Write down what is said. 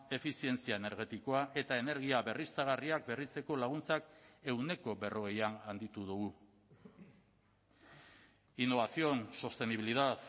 efizientzia energetikoa eta energia berriztagarriak berritzeko laguntzak ehuneko berrogeian handitu dugu innovación sostenibilidad